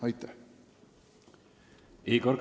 Aitäh!